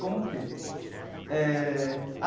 Como que? Eh.